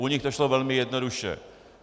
U nich to šlo velmi jednoduše.